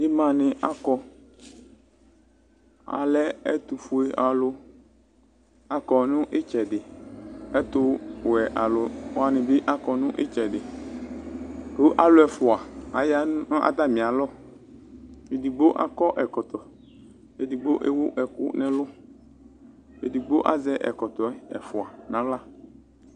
Ɩma nɩ akɔ, alɛ ɛtʋ fue alʋ akɔ nɩtsɛdɩƐtʋ wɛ alʋ wanɩ bɩ akɔ nɩtsɛdɩAlʋ ɛfʋa aya natamɩ alɔEdigbo akɔ ɛkɔtɔ, edigbo ewu ɛkʋ nɛlʋ, edigbo azɛ ɛkɔtɔɛ ɛfʋa naɣla